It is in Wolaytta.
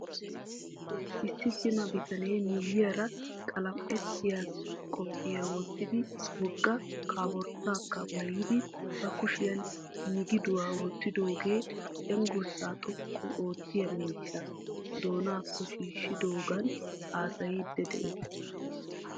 Issi cima bitanee miyiyaara qalam"ettiyaa qophiyaa wottidi wogga koporttaakka maayidi ba kushiyan migiduwaa wottidaagee cenggurssaa xoqqu oottiyaa miishshaa doonaakko shiishidoogan haasayiiddi de'ees.